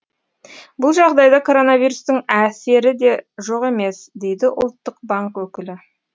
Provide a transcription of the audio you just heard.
бұл жағдайда коронавирустың әсері де жоқ емес дейді ұлттық банк өкілі